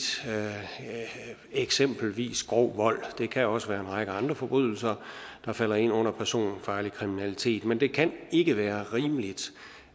eksempelvis grov vold det kan også være en række andre forbrydelser der falder ind under personfarlig kriminalitet men det kan ikke være rimeligt